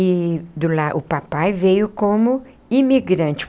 E do la o papai veio como imigrante.